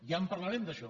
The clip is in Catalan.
ja en parlarem d’això